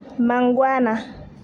Mangwana